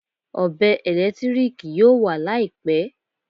Ọ̀bẹ ẹ̀lẹ́tíríkì yóò wà Láìpẹ́